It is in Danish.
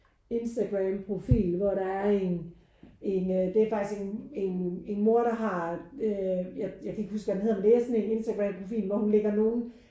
Instagram profil hvor der er en en øh det er faktisk en en en mor der har øh jeg kan ikke huske hvad den hedder men det er sådan en Instagram profil hvor hun lægger nogen